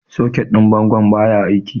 Soket din bangon baya aiki.